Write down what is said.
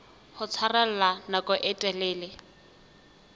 ho tshwarella nako e telele